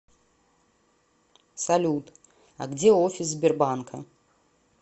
салют а где офис сбербанка